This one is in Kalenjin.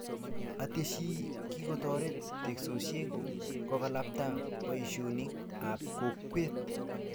Ateshi, kikotoret teksosiek kokalbta boishionik ab kowket